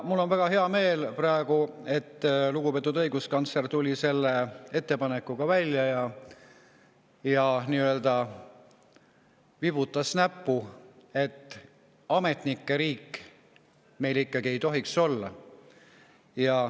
Mul on väga hea meel praegu, et lugupeetud õiguskantsler tuli selle ettepanekuga välja ja nii-öelda vibutas näppu, et ametnike riik meil ikkagi ei tohiks olla.